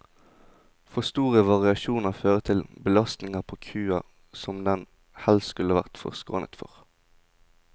For store variasjoner fører til belastninger på kua som den helst skulle vært forskånet for.